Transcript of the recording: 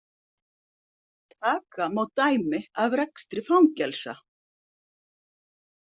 Taka má dæmi af rekstri fangelsa.